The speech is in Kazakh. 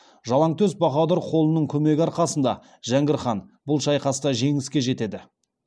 жалаңтөс баһадүр қолының көмегі арқасында жәңгір хан бұл шайқаста жеңіске жетеді